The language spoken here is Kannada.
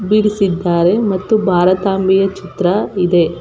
ಬಿಡಿಸಿದ್ದಾರೆ ಮತ್ತು ಭಾರತಾಂಬೆಯ ಚಿತ್ರ ಇದೆ.